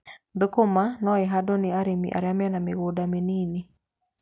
Thũkũma no ihandwo ni arĩmi arĩa mena mĩgunda mĩnini.